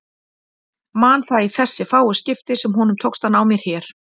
Man það í þessi fáu skipti sem honum tókst að ná mér hér.